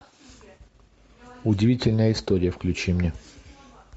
удивительная история включи мне